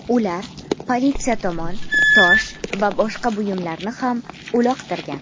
Ular politsiya tomon tosh va boshqa buyumlarni ham uloqtirgan.